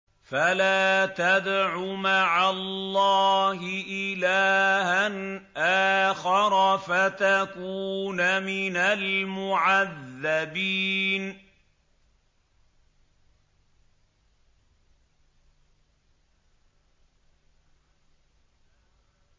فَلَا تَدْعُ مَعَ اللَّهِ إِلَٰهًا آخَرَ فَتَكُونَ مِنَ الْمُعَذَّبِينَ